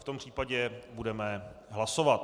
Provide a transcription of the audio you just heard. V tom případě budeme hlasovat.